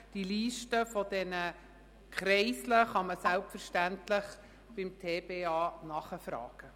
Die Liste der Kreisel kann man selbstverständlich beim TBA nachfragen.